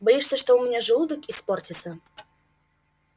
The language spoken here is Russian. боишься что у меня желудок испортится